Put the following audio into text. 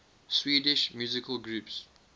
swedish musical groups